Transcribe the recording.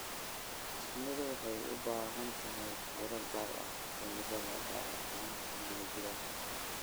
Shinnidu waxay u baahan tahay fiiro gaar ah cimilada, gaar ahaan xilliga jiilaalka.